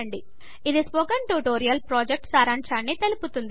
ఇది spoken tutorial ప్రాజెక్ట్ను సారాంశాన్ని తెలుపుతుంది